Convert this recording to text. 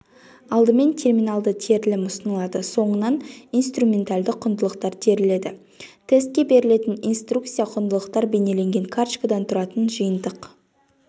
алдымен терминалды терілім ұсынылады соңынан инструменталды құндылықтар теріледі тестке берілетін инструкция құндылықтар бейнеленген карточкадан тұратын жиынтық